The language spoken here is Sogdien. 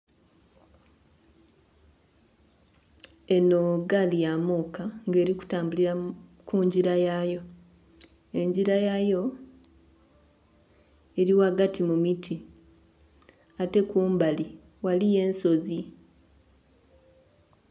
Enho gaali ya muuka ng'eli kutambulira ku ngira yayo. Engira yayo eli ghagati mu miti. Ate kumbali ghaliyo ensozi.